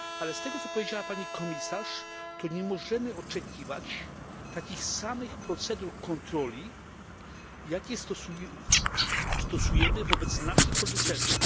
Z tego, co powiedziała pani komisarz, nie możemy oczekiwać takich samych procedur kontroli, jakie stosujemy wobec naszych producentów